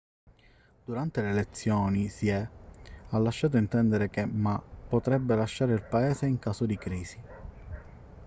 durante le elezioni hsieh ha lasciato intendere che ma potrebbe lasciare il paese in caso di crisi